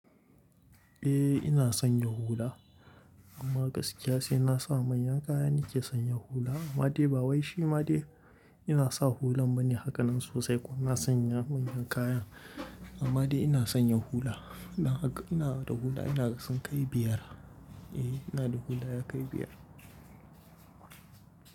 Eh ina sanya hula amma gaskiya sai na sa manyan kaya nake sanya hula. Ammade ba wai shi ma dai ina sa hulan bane hakanan sosai kuma ina sanya manyan kayan. Amade ina sanya hula. Ina da hula ina da sunkai biyar. Eh ina da hula ya kai biyar.